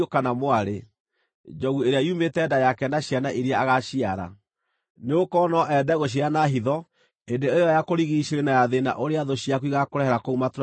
njogu ĩrĩa yumĩte nda yake na ciana iria agaciara. Nĩgũkorwo no ende gũcirĩa na hitho hĩndĩ ĩyo ya kũrigiicĩrio na ya thĩĩna ũrĩa thũ ciaku igaakũrehere kũu matũũra-inĩ manene manyu.